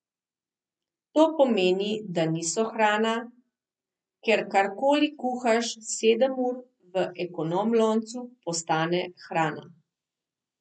To pomeni, da niso hrana, ker kar koli kuhaš sedem ur v ekonom loncu, postane hrana.